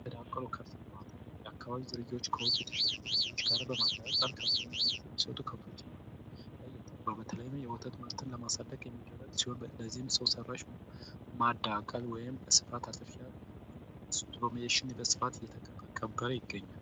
የተዳቀሉ የከብት እርባታ የአካባቢ ዝርያዎች ከውጭ ዝርያዎች ጋር በማዳቀል የተሻሻለ የከብት እርባታ ከፍተኛ ምርት የሚሰጡ ከብቶች ላይ ያተኩራል በተለይም የወተትና ከብቶች ላይ የወተት ምርትን ለማሳደግ የሚደረግ ሲሆን በዚህም ሰው ሰራሽ ማዳቀል ወይም አርቲፊሻል እስቱሩሜሽን በብዛት እየተተገበረ ይገኛል።